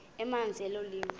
emazantsi elo liwa